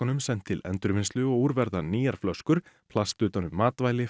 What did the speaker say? sent til endurvinnslu og úr verða nýjar flöskur plast utan um matvæli